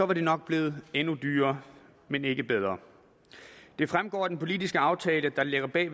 var det nok blevet endnu dyrere men ikke bedre det fremgår af den politiske aftale der ligger bag